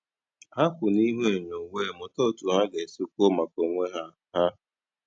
Ha kwụ n'ihu enyo wee mụta otu ha ga-esi kwuo maka onwe ha ha